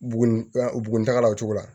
Bugun bugun dagala o cogo la